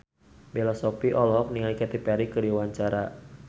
Bella Shofie olohok ningali Katy Perry keur diwawancara